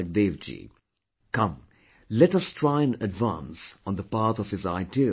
Come, let us try & advance on the path of his ideals & teachings